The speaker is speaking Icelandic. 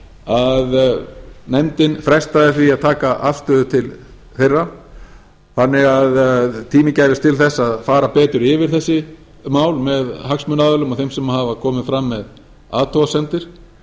að nefndin frestaði því að taka afstöðu til þeirra þannig að tími gæfist til þess að fara betur yfir þessi mál með hagsmunaaðilum og þeim sem hafa komið fram með athugasemdir